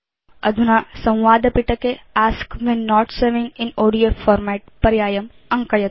अधुना संवादपिटके ask when not saving in ODF format पर्यायम् अङ्कयतु